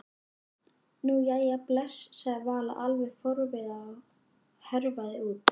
Nú, jæja bless sagði Vala alveg forviða og hörfaði út.